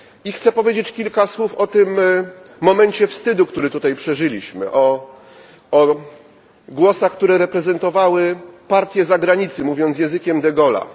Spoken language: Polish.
Chciałbym powiedzieć kilka słów o tym momencie wstydu, który tutaj przeżyliśmy, o głosach, które reprezentowały partię zagranicy, mówiąc językiem de Gaulle'a.